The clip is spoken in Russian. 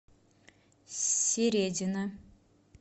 середина